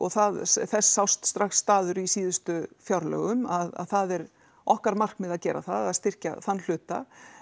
það þess sást strax staður í síðustu fjárlögum að það er okkar markmið að gera það að styrkja þann hluta